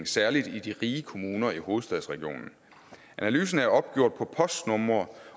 særlig i de rige kommuner i hovedstadsregionen analysen er opgjort på postnumre